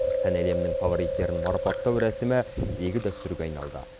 сән әлемінің фавориттерін марапаттау рәсімі игі дәстүрге айналды